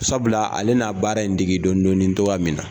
Sabula, ale n'a baara in dege dɔɔnin dɔɔnin cogo min na.